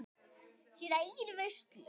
Sína eigin veislu.